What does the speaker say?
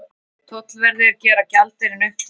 Tollverðir gera gjaldeyrinn upptækan